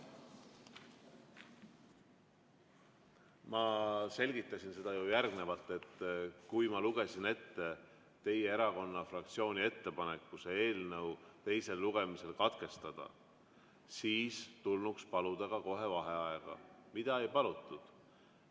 Ma selgitasin seda ju järgmiselt, et kui ma lugesin ette teie fraktsiooni ettepaneku teine lugemine katkestada, siis tulnuks kohe paluda vaheaega, mida ei palutud.